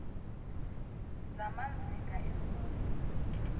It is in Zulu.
zamaz inga emfundo